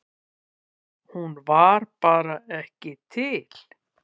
Hún var bara ekki til.